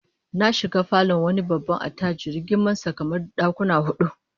Na shiga falon wani attajiri girman sa kamar dakuma hudu